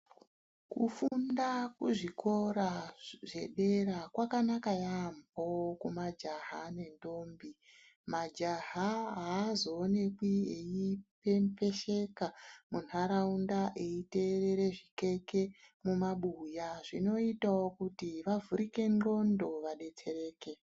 Kunofunda kuzvikora zvedera kwakanaka yambo kumajaha nentombi majaha haazooneki eyipembesheka mundaraunda eyiteere zvikeke mumabuya zvinoitawo kuti vavhurike ngqondo vabetsereke.